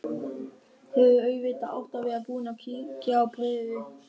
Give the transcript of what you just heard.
Hefði auðvitað átt að vera búin að kíkja á bréfið.